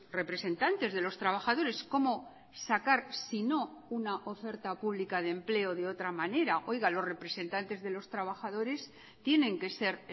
representantes de los trabajadores cómo sacar sino una oferta pública de empleo de otra manera oiga los representantes de los trabajadores tienen que ser